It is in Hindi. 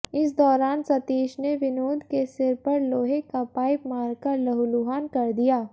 इस दौरान सतीश ने विनोद के सिर पर लोहे का पाइप मारकर लहूलुहान कर दिया